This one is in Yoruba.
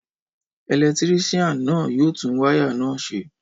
Ẹlẹtírísíàn náà yóò tún wáyà náà ṣe